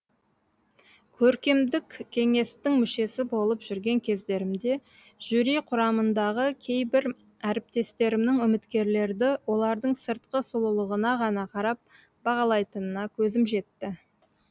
көркемдік кеңестің мүшесі болып жүрген кездерімде жюри құрамындағы кейбір әріптестерімнің үміткерлерді олардың сыртқы сұлулығына ғана қарап бағалайтынына көзім жетті